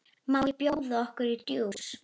Má bjóða okkur djús?